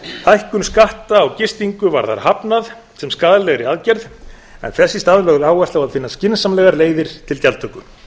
hækkun skatta á gistingu var þar hafnað sem skaðlegri aðgerð en þess í stað lögð áhersla á að finna skynsamlegar leiðir til gjaldtöku